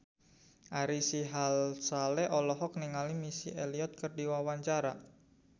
Ari Sihasale olohok ningali Missy Elliott keur diwawancara